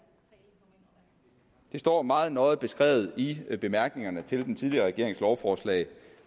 det står meget nøje beskrevet i bemærkningerne til den tidligere regerings lovforslag